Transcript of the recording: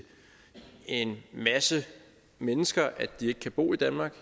en masse mennesker at de ikke kan bo i danmark